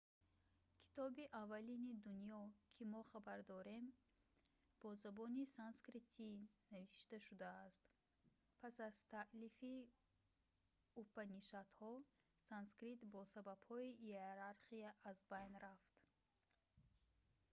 китоби аввалини дунё ки мо хабар дорем бо забони санскритӣ навишта шудааст пас аз таълифи упанишадҳо санскрит бо сабабҳои иерархия аз байн рафт